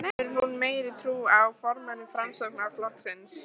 Hefur hún meiri trú á formanni Framsóknarflokksins?